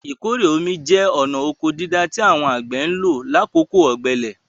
Ìkórè omi jẹ́ ọ̀na ọkọ dídá tí àwọn àgbẹ̀ ń lò lákòókò ọ̀gbẹlẹ̀.